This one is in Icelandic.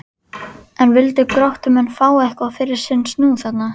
En vildu Gróttumenn fá eitthvað fyrir sinn snúð þarna?